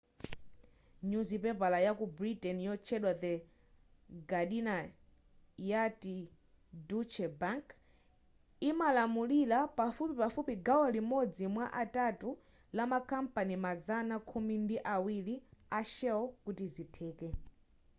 nyuzipepala ya ku britain yotchedwa the guardina yati deutsche bank imalamulira pafupifupi gawo limodzi mwa atatu la ma kampani mazana khumi ndi awiri a shell kuti izi zitheke